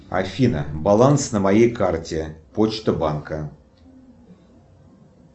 афина баланс на моей карте почта банка